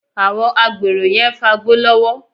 Àwọn agbèrò yẹn ń fagbó lọ́wọ́